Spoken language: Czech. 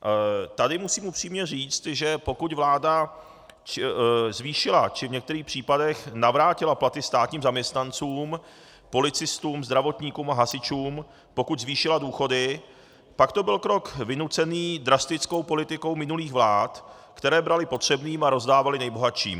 Tady musím upřímně říct, že pokud vláda zvýšila či v některých případech navrátila platy státním zaměstnancům, policistům, zdravotníkům a hasičům, pokud zvýšila důchody, pak to byl krok vynucený drastickou politikou minulých vlád, které braly potřebným a rozdávaly nejbohatším.